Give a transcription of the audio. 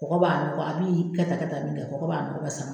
Kɔgɔ b'a nuga a b'i kɛ tan kɛ tan min kɛ kɔgɔ b'a nɔgɔ bɛɛ sama.